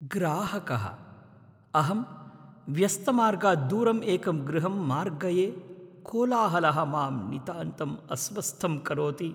ग्राहकः अहं व्यस्तमार्गात् दूरम् एकं गृहम् मार्गये कोलाहलः मां नितान्तम् अस्वस्थं करोति।